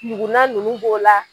Ɲuguna ninnu b'o la.